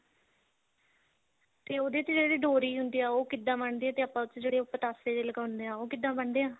ਤੇ ਉਹਦੇ ਤੇ ਜਿਹੜੀ ਡੋਰੀ ਹੁੰਦੀ ਹੈ ਉਹ ਕਿੱਦਾਂ ਬਣਦੀ ਹੈ ਤੇ ਆਪਾਂ ਜਿਹੜੇ ਉਹ ਪਤਾਸ਼ੇ ਜਿਹੇ ਲਗਾਉਂਦੇ ਹਾਂ ਉਹ ਕਿੱਦਾਂ ਬਣਦੇ ਆ